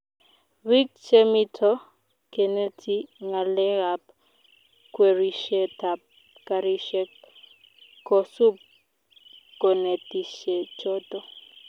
biik chemito keneti ngalekab kwerishetab karishek kosup konetishechoto